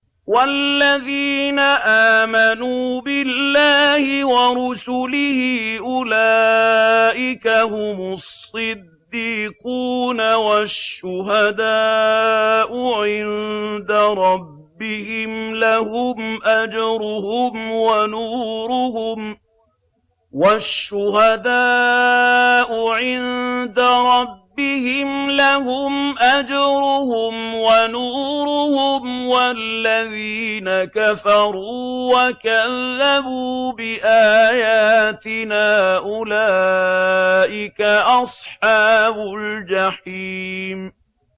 وَالَّذِينَ آمَنُوا بِاللَّهِ وَرُسُلِهِ أُولَٰئِكَ هُمُ الصِّدِّيقُونَ ۖ وَالشُّهَدَاءُ عِندَ رَبِّهِمْ لَهُمْ أَجْرُهُمْ وَنُورُهُمْ ۖ وَالَّذِينَ كَفَرُوا وَكَذَّبُوا بِآيَاتِنَا أُولَٰئِكَ أَصْحَابُ الْجَحِيمِ